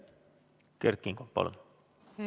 Kert Kingo, palun!